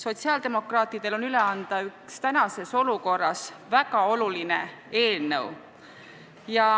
Sotsiaaldemokraatidel on üle anda üks praeguses olukorras väga oluline eelnõu.